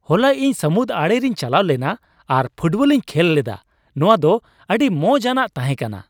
ᱦᱚᱞᱟ ᱤᱧ ᱥᱟᱢᱩᱫ ᱟᱲᱮ ᱨᱮᱧ ᱪᱟᱞᱟᱣ ᱞᱮᱱᱟ ᱟᱨ ᱯᱷᱩᱴᱵᱚᱞᱤᱧ ᱠᱷᱮᱞ ᱞᱮᱫᱟ ᱾ ᱱᱚᱶᱟ ᱫᱚ ᱟᱹᱰᱤ ᱢᱚᱡᱟ ᱟᱱᱟᱜ ᱛᱟᱦᱮᱸ ᱠᱟᱱᱟ ᱾